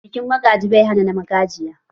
Bikin magaji bai hana na magajiya